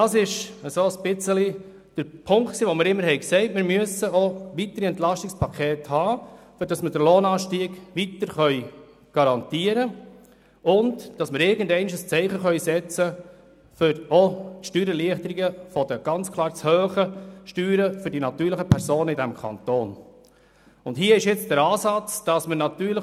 Das war der Punkt, weshalb wir uns immer wieder für weitere Entlastungspakete ausgesprochen hatten, nämlich um den Lohnanstieg garantieren und um irgendwann einmal ein Zeichen setzen zu können, um auch Steuererleichterungen für die natürlichen Personen in diesem Kanton zu erreichen.